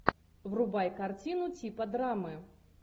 врубай картину типа драмы